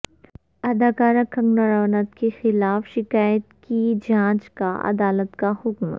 اداکارہ کنگناراوت کے خلاف شکایت کی جانچ کا عدالت کا حکم